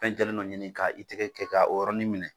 Fɛn jɛlen dɔ ɲini k' a i tɛgɛ kɛ ka o yɔrɔni minɛ.